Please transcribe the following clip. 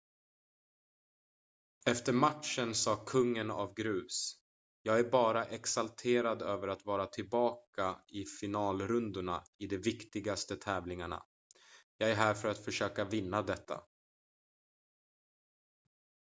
"efter matchen sa kungen av grus: "jag är bara exalterad över att vara tillbaka i finalrundorna i de viktigaste tävlingarna. jag är här för att försöka vinna detta.""